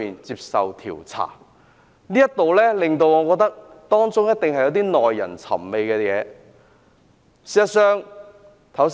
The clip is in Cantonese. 就此，我認為當中一定有耐人尋味的事情。